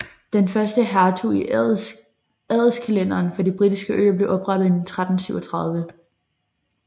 Den første hertug i adelskalenderen for de britiske øer blev oprettet i 1337